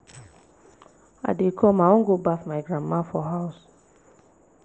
i dey come i wan go baff my grandma for house